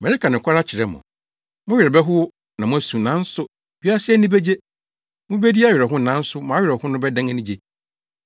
Mereka nokware akyerɛ mo; mo werɛ bɛhow na moasu, nanso wiasefo ani begye. Mubedi awerɛhow nanso mo awerɛhow no bɛdan anigye.